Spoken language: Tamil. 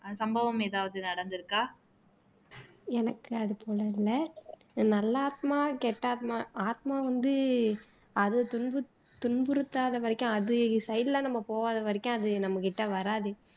சம்பவம் எதாவது நடந்துருக்கா